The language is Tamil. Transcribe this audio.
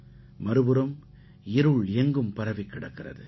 மறுபுறம் இருள் எங்கும் பரவிக் கிடக்கிறது